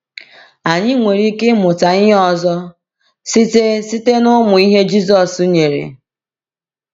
Anyị nwere ike ịmụta ihe ọzọ site site n’ụmụ ihe Jisọs nyere.